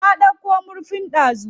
Na ɗauko murfin dazu.